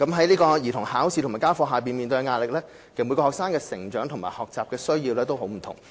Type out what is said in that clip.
兒童面對考試及家課壓力，而其實每名學生的成長和學習需要皆不盡相同。